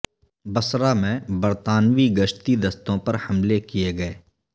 بصرہ میں برطانوی گشتی دستوں پر حملے کئے گئے